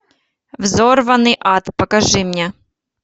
взорванный ад покажи мне